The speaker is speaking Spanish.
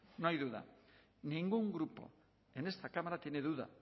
no hay duda ningún grupo en esta cámara tiene duda